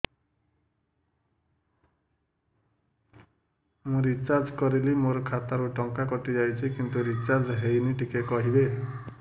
ମୁ ରିଚାର୍ଜ କରିଲି ମୋର ଖାତା ରୁ ଟଙ୍କା କଟି ଯାଇଛି କିନ୍ତୁ ରିଚାର୍ଜ ହେଇନି ଟିକେ କହିବେ